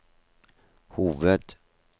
hoved